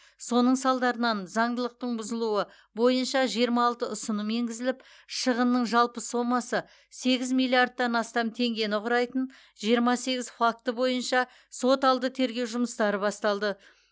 соның салдарынан заңдылықтың бұзылуы бойынша жиырма алты ұсыным енгізіліп шығынның жалпы сомасы сегіз миллиардтан астам теңгені құрайтын жиырма сегіз факті бойынша сот алды тергеу жұмыстары басталды